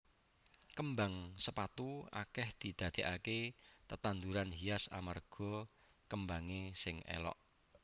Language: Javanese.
Kembang sepatu akèh didadèkaké tetanduran hias amarga kembangé sing élok